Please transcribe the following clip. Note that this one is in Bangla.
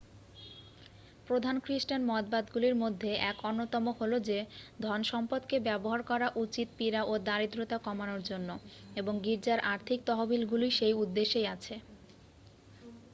প্রধান খ্রিস্টান মতবাদগুলির মধ্যে এক অন্যতম হল যে ধনসম্পদ কে ব্যবহার করা উচিত পীড়া ও দারিদ্রতা কমানোর জন্য এবং গির্জার আর্থিক তহবিলগুলি সেই উদ্দেশ্যেই আছে